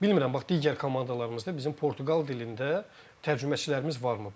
Bilmirəm, bax digər komandalarımızda bizim Portuqal dilində tərcüməçilərimiz varmı?